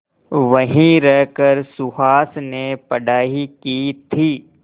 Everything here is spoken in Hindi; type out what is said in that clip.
वहीं रहकर सुहास ने पढ़ाई की थी